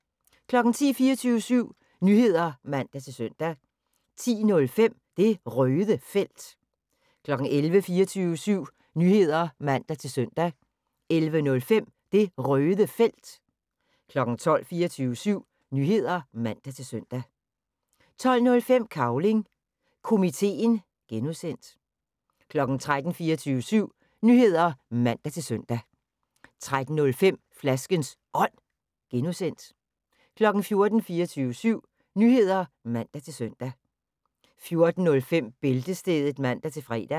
10:00: 24syv Nyheder (man-søn) 10:05: Det Røde Felt 11:00: 24syv Nyheder (man-søn) 11:05: Det Røde Felt 12:00: 24syv Nyheder (man-søn) 12:05: Cavling Komiteen (G) 13:00: 24syv Nyheder (man-søn) 13:05: Flaskens Ånd (G) 14:00: 24syv Nyheder (man-søn) 14:05: Bæltestedet (man-fre)